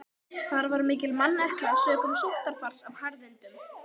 Þar var mikil mannekla sökum sóttarfars af harðindum.